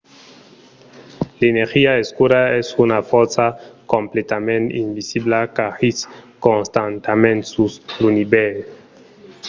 l'energia escura es una fòrça completament invisibla qu'agís constantament sus l'univèrs